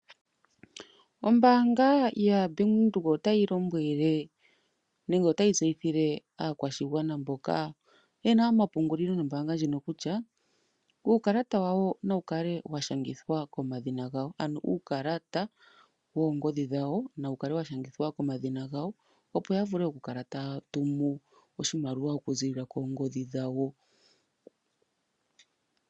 Ombaanga yaWindhoek otayi lombwele nenge otayi tseyithile aakwashigwana mboka yena omapungulilo nombaanga ndjino kutya uukala wawo nawu kale washangathwa komadhina gawo ano uukalata woongodhi dhawo nawu kale washangithwa komadhina gawo, opo yavule okukala taya tumu oshimaliwa okuzilila koongodhi dhawo.